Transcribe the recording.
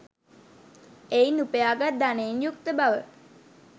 එයින් උපයා ගත් ධනයෙන් යුක්ත බව